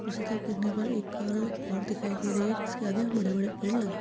दूसरी तरफ देखने पर एक कार औरते दिखाई दे रही हैं जिसके आगे बड़े-बड़े पेड़ लगे --